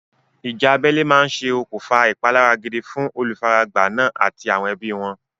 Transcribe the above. Ìjà abẹ́lé máa ṣe okùnfà ìpalára gidi fún olùfaragbá náà àti àwọn ẹbí wọn.